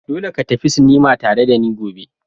Dole ka tafi sinima tare da ni gobe!